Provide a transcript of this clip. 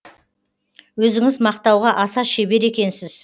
өзіңіз мақтауға аса шебер екенсіз